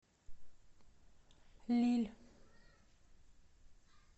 лилль